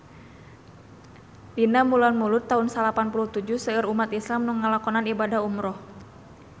Dina bulan Mulud taun salapan puluh tujuh seueur umat islam nu ngalakonan ibadah umrah